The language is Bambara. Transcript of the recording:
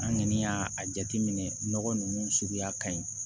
An kɔni y'a a jateminɛ nɔgɔ ninnu suguya ka ɲi